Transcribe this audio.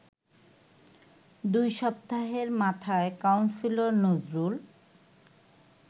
দুই সপ্তাহের মাথায় কাউন্সিলর নজরুল